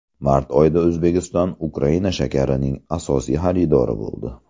Mart oyida O‘zbekiston Ukraina shakarining asosiy xaridori bo‘ldi.